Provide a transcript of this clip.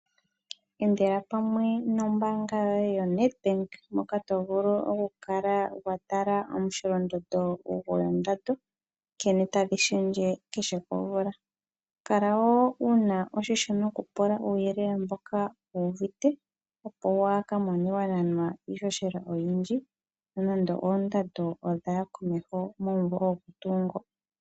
Endela pamwe nombanga yoye yo Nedbank poka tovulu okukala wa tala omu sholondondo ngwendando nkene tadhishendje kehe komvula, Kala wo wuna oshisho nokupula uyelele mboka wuvite opo wakamone wananwa ishoshela oyindji nonande oondando odhaya komeho movo omo tu ngo.